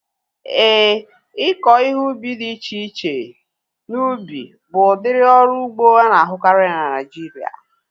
Éè, ịkọ ihe ubi dị iche iche n'ubi bụ udiri ọrụ ugbo ana-ahukari na Naijiria